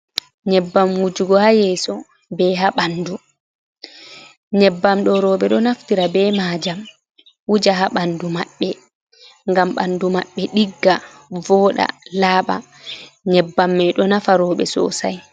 Nyebbam wujugo ha yeso, be ha ɓandu. Nyebbam ɗo rowɓe ɗo naftira be majam wuja ha ɓandu maɓɓe, ngam ɓandu maɓɓe ɗigga vooɗa, laaɓa. Nyebbam mai ɗo nafa rowɓe sosai.